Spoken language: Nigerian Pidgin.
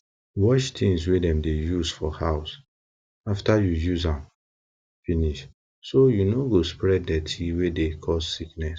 wash tins wey dem dey use for house after you use am finish so you no go spread dirty wey dey cause sickness